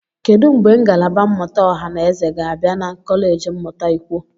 Kedu mgbe ngalaba mmụta ọha na eze ga-abịa na kọleji mmụta ikwo?